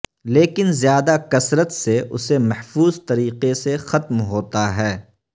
لیکن زیادہ کثرت سے اسے محفوظ طریقے سے ختم ہوتا ہے